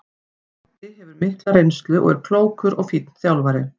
Toddi hefur mikla reynslu og er klókur og fínn þjálfari.